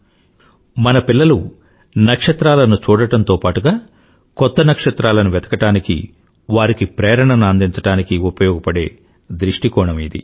ఇది మన పిల్లలు నక్షత్రాలను చూడడం తో పాటుగా కొత్త నక్షత్రాలను వెతకడానికి వారికి ప్రేరణను అందించడానికి ఉపయోగపడే దృష్టికోణం ఇది